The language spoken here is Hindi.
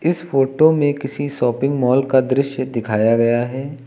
इस फोटो में किसी शापिंग मॉल का दृश्य दिखाया गया है।